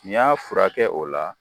N'i y'a furakɛ o la.